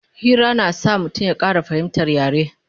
Hira na sa mutum ya Ƙara fahimtar yare